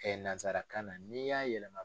nazarakan na n'i y'a yɛlɛma.